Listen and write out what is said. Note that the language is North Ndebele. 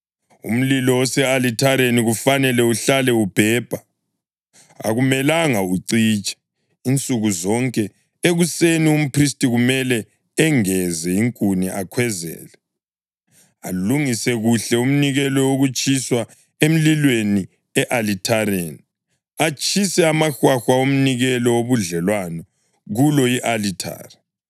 Umlilo ose-alithareni kufanele uhlale ubhebha; akumelanga ucitshe. Insuku zonke ekuseni umphristi kumele engeze inkuni akhwezele, alungise kuhle umnikelo wokutshiswa emlilweni e-alithareni, atshise amahwahwa omnikelo wobudlelwano kulo i-alithari.